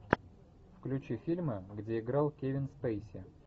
включи фильмы где играл кевин спейси